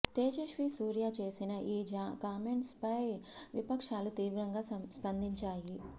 తేజస్వి సూర్య చేసిన ఈ కామెంట్స్ పై విపక్షాలు తీవ్రంగా స్పందించాయి